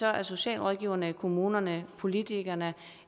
er socialrådgiverne kommunerne politikerne